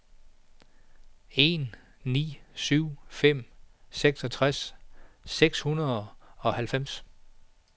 en ni syv fem seksogtres seks hundrede og halvfems